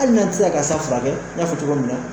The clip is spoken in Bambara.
Hali n'a ti se ka sa furakɛ n y'a fɔ cogo min na